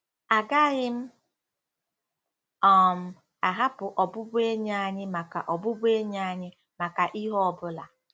Agaghị m um ahapụ ọbụbụenyi anyị maka ọbụbụenyi anyị maka ihe ọ bụla.